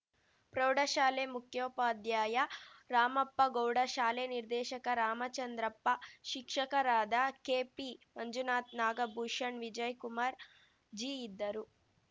ಪ್ರೌಢಶಾಲೆ ಮುಖ್ಯೋಪಾಧ್ಯಾಯ ರಾಮಪ್ಪಗೌಡ ಶಾಲೆ ನಿರ್ದೇಶಕ ರಾಮಚಂದ್ರಪ್ಪ ಶಿಕ್ಷಕರಾದ ಕೆಪಿ ಮಂಜುನಾಥ್ ನಾಗಭೂಷಣ್‌ ವಿಜಯ್‌ಕುಮಾರ್‌ ಜಿ ಇದ್ದರು